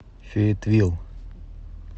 фейетвилл